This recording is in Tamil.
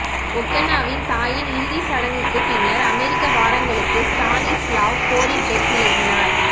ஒகனாவின் தாயின் இறுதிச் சடங்குக்குப் பின்னர் அமெரிக்க வாரங்களுக்கு ஸ்டானிஸ்லாவ் கோரிடெக் விலகினார்